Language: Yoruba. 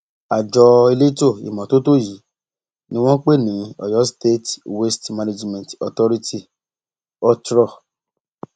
àjọ elétò ìmọtótó yìí ni wọn ń pè ní oyo state waste management authority otrọ